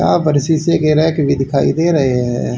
यहां शीशी के रैक दिखाई दे रहे हैं।